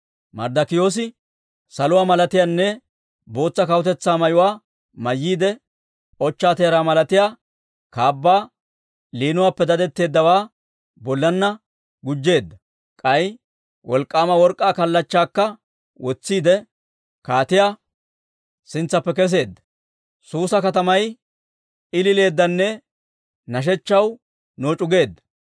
Marddokiyoosi saluwaa malatiyaanne bootsa kawutetsaa mayuwaa mayyiide, ochchaa teeraa malatiyaa kaabbaa, liinuwaappe dadetteeddawaa bollanna gujjeedda; k'ay wolk'k'aama work'k'aa kallachchaakka wotsiidde, kaatiyaa sintsaappe kesseedda. Suusa katamay ilileeddanne nashechchaw nooc'u geedda.